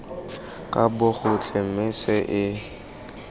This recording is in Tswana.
ka bogotlhe mme tse e